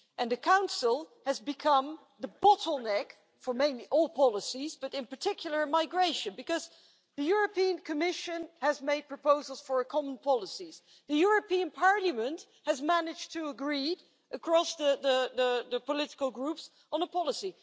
The Council has become the bottleneck for mainly all policies, but in particular migration, because the European Commission has made proposals for a common policy, the European Parliament has managed to agree, across the political groups on a policy.